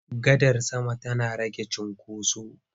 Gadar sama tana rage cinkoso.